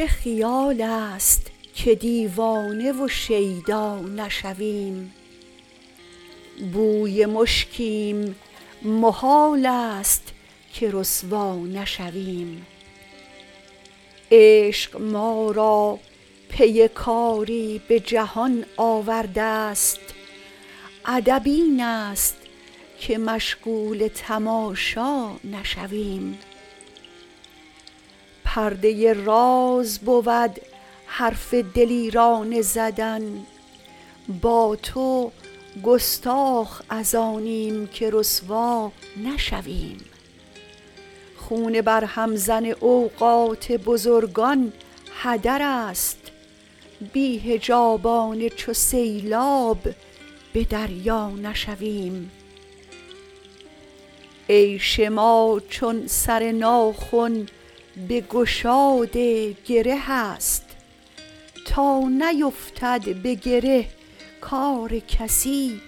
چه خیال است که دیوانه و شیدا نشویم بوی مشکیم محال است که رسوا نشویم عشق ما را پی کاری به جهان آورده است ادب این است که مشغول تماشا نشویم پرده راز بود حرف دلیرانه زدن با تو گستاخ از آنیم که رسوا نشویم خون برهم زن اوقات بزرگان هدر است بی حجابانه چو سیلاب به دریا نشویم عیش ما چون سر ناخن به گشاد گره است تا نیفتد به گره کار کسی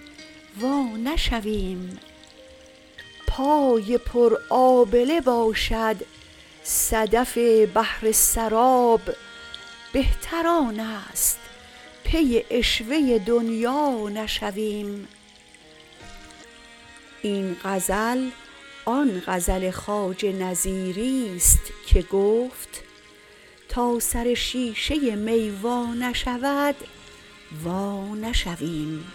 وا نشویم پای پر آبله باشد صدف بحر سراب بهتر آن است پی عشوه دنیا نشویم این غزل آن غزل خواجه نظیری ست که گفت تا سر شیشه می وا نشود وانشویم